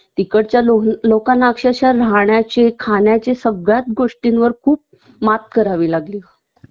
तिकडच्या लोक लोकांना अक्षरशः राहण्याची खाण्याची सगळ्यात गोष्टींवर खूप मात करावी लागली